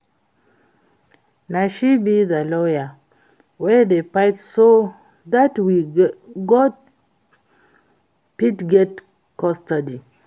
Na she be the lawyer wey dey fight so dat we got fit get custody